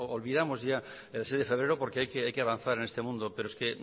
olvidamos ya el seis de febrero porque hay que avanzar en este mundo pero es que